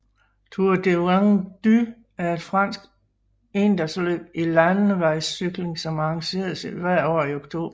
Tour de Vendée er et fransk endagsløb i landevejscykling som arrangeres hvert år i oktober